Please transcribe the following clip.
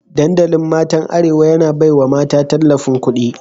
Dandalin matan arewa, yana baiwa mata tallafin kudi